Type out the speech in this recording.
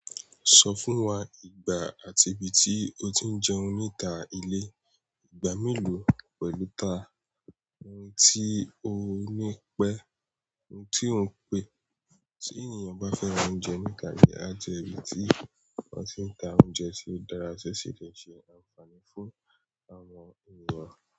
Sọ fún wa ìgbà àti ibi tí o ti ń jẹun níta ilé, ìgbà mélòó pẹ̀lú ta, ohun tí o ni pè, tí ènìyàn bá fẹ́ ra oúnjẹ níta ilé, a jẹ́ ìbí tí wọ́n ti ń ta oúnjẹ tí ó dára ti o si lè ṣe ànfààní fún àwọn ènìyàn.